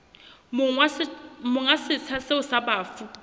monga setsha seo sa bafu